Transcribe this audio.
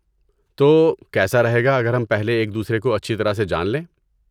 تو، کیسا رہے گا اگر ہم پہلے ایک دوسرے کو اچھی طرح سے جان لیں؟